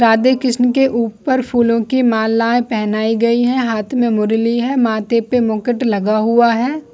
राधे कृष्ण के ऊपर फूलो का मालाये पहनाई गयी है हाथ में मुरली है माथे पर एक मुकुट लगा हुआ है।